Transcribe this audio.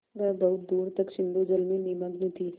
वह बहुत दूर तक सिंधुजल में निमग्न थी